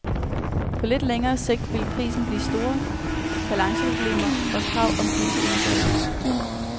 På lidt længere sigt ville prisen blive store balanceproblemer og krav om dybe indgreb.